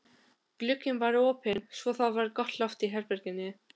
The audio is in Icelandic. Glugginn var opinn svo það var gott loft í herberginu.